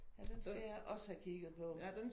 Ja den skal jeg også have kigget på